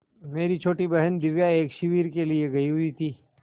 मेरी छोटी बहन दिव्या एक शिविर के लिए गयी हुई थी